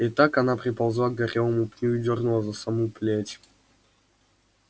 и так она приползла к горелому пню и дёрнула за саму плеть